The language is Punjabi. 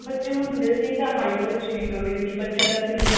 ਬੱਚੇ ਹੁੰਦੇ ਸੀ ਇੱਕ ਤਾਂ height ਬਹੁਤ ਅੱਛੀ ਨਿਕਲਦੀ ਸੀ ਬੱਚਿਆ ਦਾ